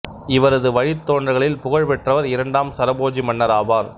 இவரது வழித்தோன்றல்களில் புகழ் பெற்றவர் இரண்டாம் சரபோஜி மன்னர் ஆவார்